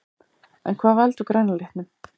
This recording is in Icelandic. En hvað veldur græna litnum?